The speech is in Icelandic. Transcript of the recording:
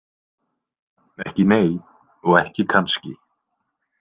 Ekki nei og ekki kannski.